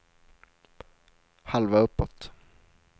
halva uppåt